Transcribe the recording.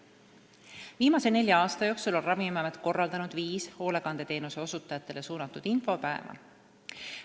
Viimase nelja aasta jooksul on Ravimiamet korraldanud viis hoolekandeteenuse osutajatele suunatud infopäeva.